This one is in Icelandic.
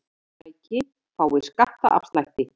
Fyrirtæki fái skattaafslætti